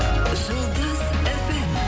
жұлдыз фм